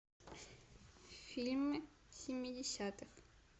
фильмы семидесятых